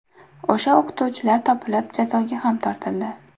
O‘sha o‘qituvchilar topilib, jazoga ham tortildi.